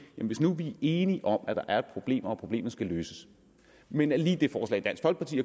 hvis nu vi er enige om at der er et problem og at problemet skal løses men at lige det forslag dansk folkeparti